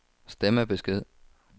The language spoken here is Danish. stemmebesked